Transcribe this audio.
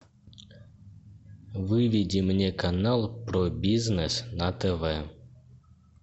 выведи мне канал про бизнес на тв